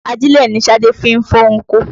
Ajílẹ̀ ni Ṣadé fi ń fọ́n oko